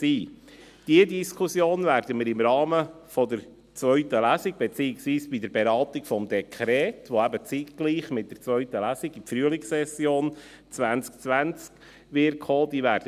Diese Diskussion werden wir im Rahmen der zweiten Lesung, beziehungsweise bei der Beratung des Dekrets führen, welches zeitgleich mit der zweiten Lesung in die Frühlingssession 2020 kommen wird.